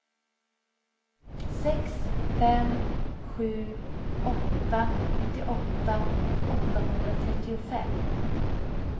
sex fem sju åtta nittioåtta åttahundratrettiofem